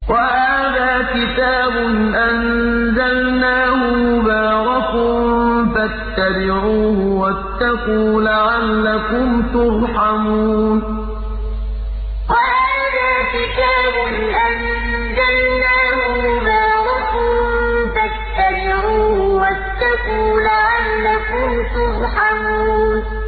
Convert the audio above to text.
وَهَٰذَا كِتَابٌ أَنزَلْنَاهُ مُبَارَكٌ فَاتَّبِعُوهُ وَاتَّقُوا لَعَلَّكُمْ تُرْحَمُونَ وَهَٰذَا كِتَابٌ أَنزَلْنَاهُ مُبَارَكٌ فَاتَّبِعُوهُ وَاتَّقُوا لَعَلَّكُمْ تُرْحَمُونَ